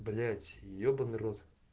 блять ебаный рот